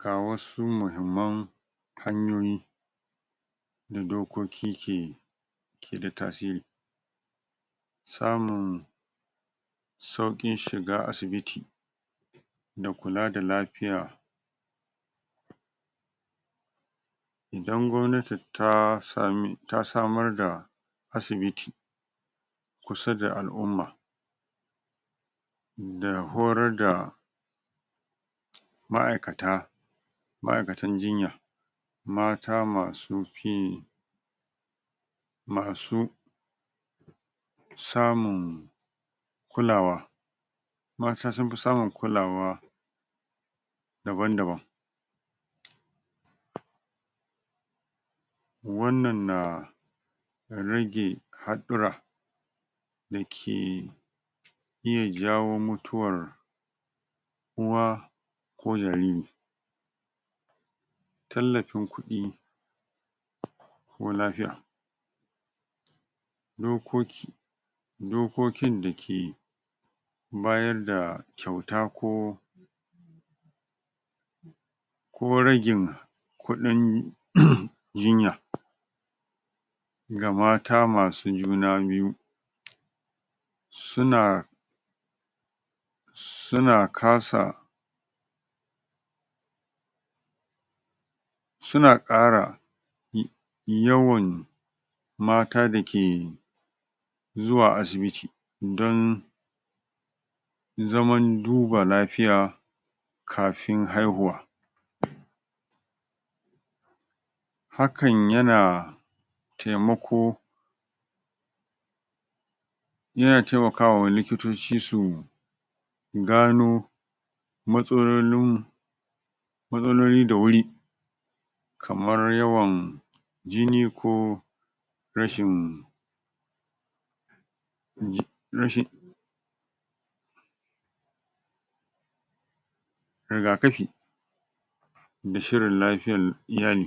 ga wasu mahimman hanyoyi da dokoki ke yi ke da tasiri samun sauƙin shiga asibiti da kula da lafiya idan gwamnati ta sami ta samar da asibiti kusa da al'umma da horar da ma'aikata ma'aikatan jinya mata masu ƙin yi masu samun kulawa waƴansu sun fi samun kulawa daban-daban wannan na rage haɗɗura da ke iya jawo mutuwar uwa ko jariri tallafin kuɗi ko lafiya dokoki dokokin dake bayar da kyauta ko ko ragin kuɗin jinya ga mata masu juna biyu suna suna kasa suna ƙara yawan mata da ke zuwa asibiti dan zaman duba lafiya kafin haihuwa hakan yana taimako yana taimakawa likitoci su gano matsalolin mu matsaloli da wuri kamar yawan jini ko rashin ji rashin rigakafi da shirin lafiyar iyali.